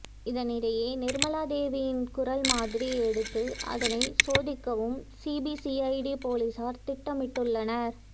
இதனிடையே நிர்மலாதேவியின் குரல் மாதிரி எடுத்து அதனை சோதிக்கவும் சிபிசிஐடி போலீசார் திட்டமிட்டுள்ளனர்